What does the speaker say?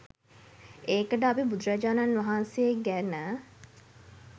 ඒකට අපි බුදුරජාණන් වහන්සේ ගැන .